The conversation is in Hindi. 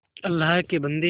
अल्लाह के बन्दे